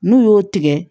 N'u y'o tigɛ